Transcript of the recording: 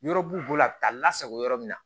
Yɔrɔ b'u bolo a bɛ taa lasago yɔrɔ min na